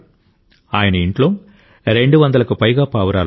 ఆయన ఇంట్లో 200కు పైగా పావురాలున్నాయి